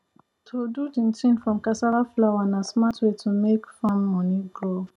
to do chinchin from cassava flour na smart way to make make farm money grow